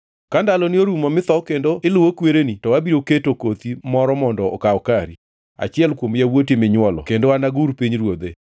Ka ndaloni orumo mitho kendo iluwo kwereni, to abiro keto kothi moro mondo okaw kari, achiel kuom yawuoti minywolo kendo anagur pinyruodhe.